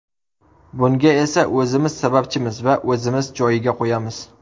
Bunga esa o‘zimiz sababchimiz va o‘zimiz joyiga qo‘yamiz.